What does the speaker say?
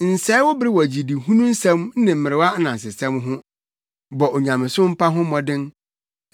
Nsɛe wo bere wɔ gyidihuu nsɛm ne mmerewa anansesɛm ho. Bɔ onyamesompa ho mmɔden.